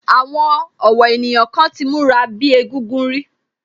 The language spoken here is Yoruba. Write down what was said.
Àwọn ọ̀wọ́ ènìyàn kan ti múra bíi egúngún rí